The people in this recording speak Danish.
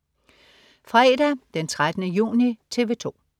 Fredag den 13. juni - TV 2: